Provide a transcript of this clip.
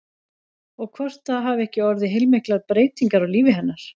Og hvort það hafi ekki orðið heilmiklar breytingar á lífi hennar?